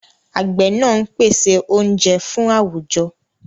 Àgbẹ̀ náà ń pèsè oúnjẹ fún àwùjọ.